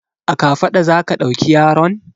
A kafaɗa za ka ɗauki yaron?